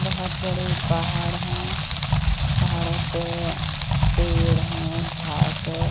बहोत बड़े पहाड़ हैं। पहाड़ों पे पेड़ है घास है।